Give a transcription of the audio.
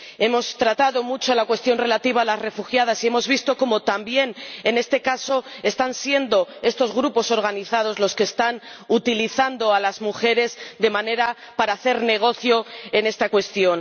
Hemos tratado mucho la cuestión relativa a las refugiadas y hemos visto cómo, también en este caso, están siendo estos grupos organizados los que están utilizando a las mujeres para hacer negocio en esta cuestión.